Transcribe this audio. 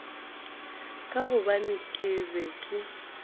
ka gobane ke be ke